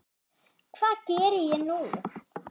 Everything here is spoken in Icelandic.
Hvað geri ég nú?